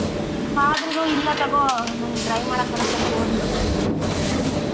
ಆದ್ರೂನು ಇಲ್ಲ ತಗೋ ನಂಗ್ drive ಮಾಡೋಕ್ ಬರತ್ತೆ ಅಂತ ಹೋದ್ಲು ಹ.